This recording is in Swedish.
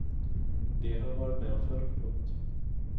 Det har jag varit med om förr. punkt